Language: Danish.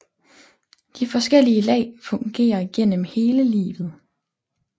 De forskellige lag fungerer igennem hele livet